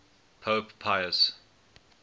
pope pius